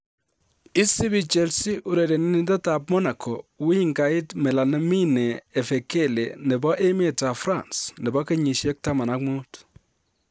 Isibii Chelsea urerenindetab Monaco, wingait Malamine Efekele nebo emetab France, nebo kenyisiek 15.